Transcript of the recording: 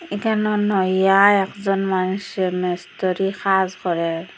এখানে নুইয়া একজন মানুষে মিস্ত্রি কাজ করে।